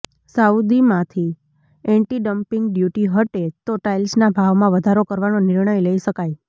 સાઉદીમાંથી anti dumping duty હટે તો ટાઇલ્સના ભાવમાં વધારો કરવાનો નિર્ણય લઈ શકાય